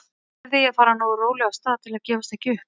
Þá lærði ég að fara nógu rólega af stað til að gefast ekki upp.